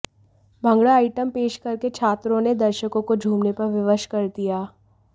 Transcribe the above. bhangra item पेश करके छात्रों ने दर्शकों को झूमने पर विवश कर दिया